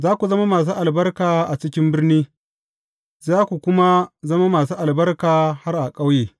Za ku zama masu albarka a cikin birni, za ku kuma zama masu albarka har a ƙauye.